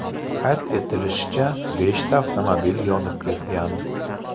Qayd etilishicha, beshta avtomobil yonib ketgan.